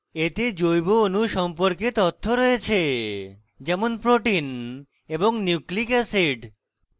এতে জৈব অণু সম্পর্কে তথ্য রয়েছে যেমন proteins এবং nucleic acids